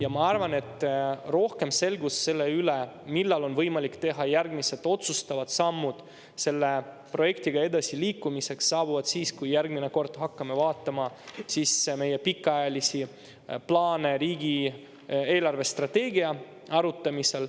Ja ma arvan, et rohkem selgust selle üle, millal on võimalik teha järgmised otsustavad sammud selle projektiga edasiliikumiseks, saabuvad siis, kui järgmine kord hakkame vaatama meie pikaajalisi plaane riigi eelarvestrateegia arutamisel.